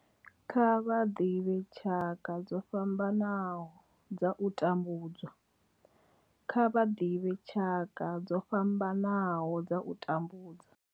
Kha vha ḓivhe tshaka dzo fhambanaho dza u tambudzwa, Kha vha ḓivhe tshaka dzo fhambanaho dza u tambudzwa.